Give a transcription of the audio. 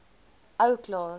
ou klaas